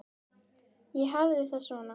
Ég hafði það svona.